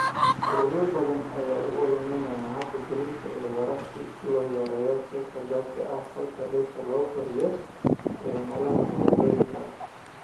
Ururo badan ayaa u ololeeya habab gaadiid oo waara si loo yareeyo qiiqa gaaska aqalka dhirta lagu koriyo ee meelaha magaalooyinka ah.